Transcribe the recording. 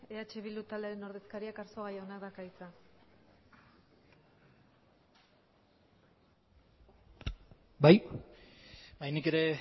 eh bildu taldearen ordezkariak arzuaga jaunak dauka hitza bai nik ere